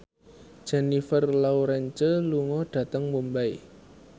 Jennifer Lawrence lunga dhateng Mumbai